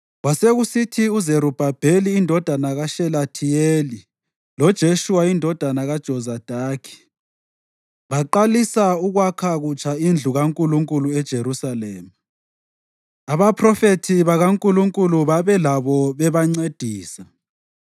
Kwasekusithi uZerubhabheli indodana kaShelathiyeli loJeshuwa indodana kaJozadaki baqalisa ukwakha kutsha indlu kaNkulunkulu eJerusalema. Abaphrofethi bakaNkulunkulu babelabo bebancedisa.